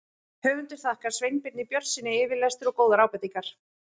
Höfundur þakkar Sveinbirni Björnssyni yfirlestur og góðar ábendingar.